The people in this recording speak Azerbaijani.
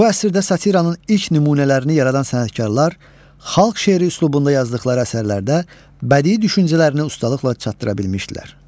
Bu əsrdə satiranın ilk nümunələrini yaradan sənətkarlar xalq şeiri üslubunda yazdıqları əsərlərdə bədii düşüncələrini ustalıqla çatdıra bilmişdilər.